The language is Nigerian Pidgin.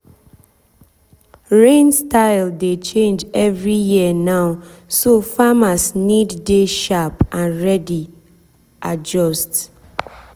rain style dey change every year now so farmers need dey sharp and ready adjust.